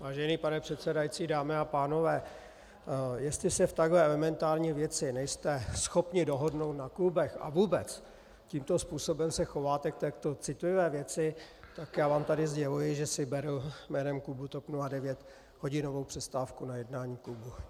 Vážený pane předsedající, dámy a pánové, jestli se v takhle elementární věci nejste schopni dohodnout na klubech a vůbec tímto způsobem se chováte k takto citlivé věci, tak já vám tady sděluji, že si beru jménem klubu TOP 09 hodinovou přestávku na jednání klubu.